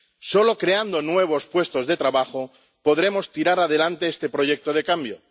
Solo creando nuevos puestos de trabajo podremos sacar adelante este proyecto de cambio